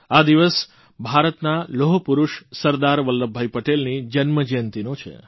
આ દિવસ ભારતના લોહપુરૂષ સરદાર વલ્લભભાઇ પટેલની જન્મજયંતિનો છે